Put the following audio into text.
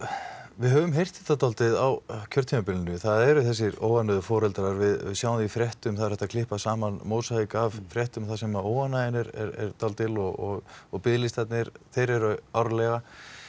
við höfum heyrt þetta svolítið á kjörtímabilinu það er þessi óánægja foreldra við sjáum það í fréttum það er hægt að klippa saman mósaík af fréttum þar sem óánægja foreldra er dálítil og og biðlistarnir eru árlega